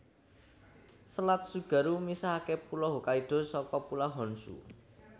Selat Tsugaru misahaké Pulo Hokkaido saka Pulau Honshu